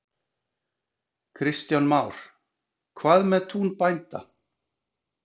Kristján Már: Hvað með tún bænda?